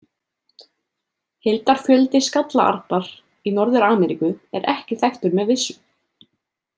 Heildarfjöldi skallaarnar í Norður-Ameríku er ekki þekktur með vissu.